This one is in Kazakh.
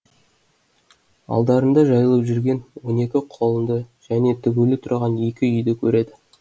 алдарында жайылып жүрген он екі құлынды және тігулі тұрған екі үйді көреді